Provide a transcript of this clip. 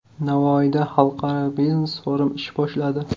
Navoiyda xalqaro biznes-forum ish boshladi.